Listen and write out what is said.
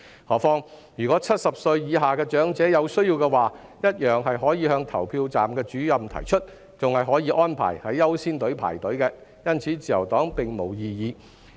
何況若70歲以下的長者有需要，只要向投票站主任提出，同樣可獲安排在"優先隊伍"輪候，因此自由黨並沒有異議。